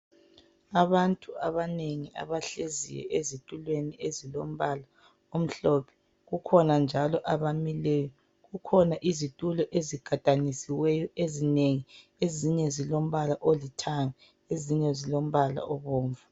abantu abanengi abahlezi ezitulweni ezilombala omhlophe kukhona njalo abamileyo kukhona izitulo ezigadanisiweyo ezinenggi ezinye zilombala olithanga ezinye zilombala obomvu